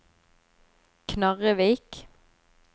Knarrevik